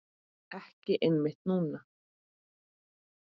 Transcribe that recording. Ekki einmitt núna.